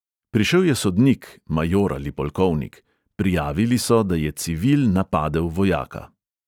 Prišel je sodnik, major ali polkovnik, prijavili so, da je civil napadel vojaka.